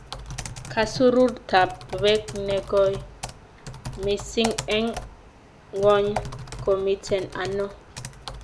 Kasururtap peek ne goi misiing' eng' ng'wony ko miten ano